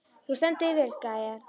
Þú stendur þig vel, Gael!